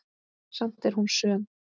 Samt er hún söm.